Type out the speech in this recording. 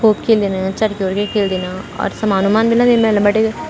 खुब खिल्दीन चरखी-वर्खी खिल्दीन और समान-उमान भी लगे मेला बटे।